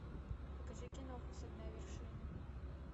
покажи киноху со дна вершины